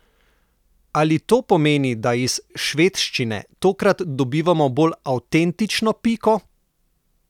Ali to pomeni, da iz švedščine tokrat dobivamo bolj avtentično Piko?